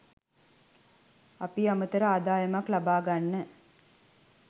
අපි අමතර ආදායමක් ලබා ගන්න